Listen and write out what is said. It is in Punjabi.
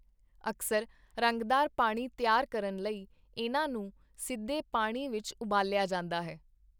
ਅਕਸਰ ਰੰਗਦਾਰ ਪਾਣੀ ਤਿਆਰ ਕਰਨ ਲਈ ਇਨ੍ਹਾਂ ਨੂੰ ਸਿੱਧੇ ਪਾਣੀ ਵਿੱਚ ਉਬਾਲਿਆ ਜਾਂਦਾ ਹੈ।